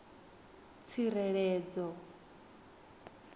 tsireledzo